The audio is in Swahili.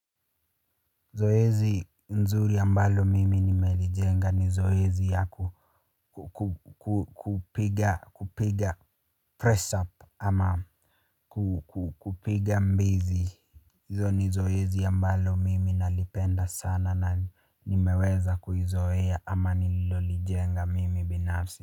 Zoezi nzuri ambalo mimi nimelijenga ni zoezi ya kupiga pressure up ama kupiga mbizi. Hizo ni zoezi ambalo mimi nalipenda sana na nimeweza kuizoea ama nililolijenga mimi binafsi.